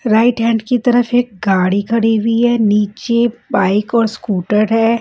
Right hand की तरफ एक गाड़ी खड़ी हुई है नीचे बाइक और स्कूटर है।